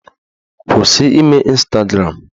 Kwụsị ime Ịnstagram!